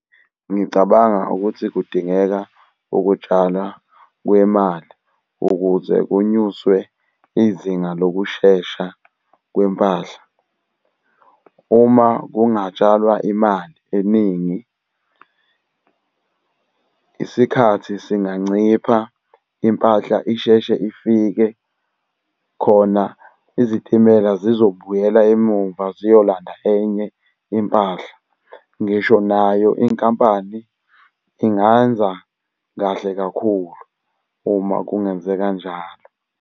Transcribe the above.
Ngicabanga ukuthi kudingeka ukutshalwa kwemali ukuze kunyuswe izinga lokushesha kwempahla. Uma kungatshalwa imali eningi, isikhathi singancipha impahla isheshe ifike khona izitimela zizobuyela emumva ziyolanda enye impahla. Ngisho nayo inkampani ingenza kahle kakhulu uma kungenzeka njalo.